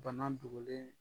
Bana dogolen